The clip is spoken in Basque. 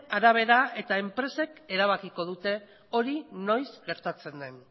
arabera eta enpresek erabakiko dute hori noiz gertatzen den